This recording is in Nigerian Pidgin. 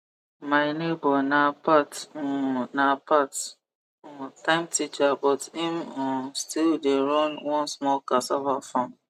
my neighbor na part um na part um time teacher but him um still the run one small casava farm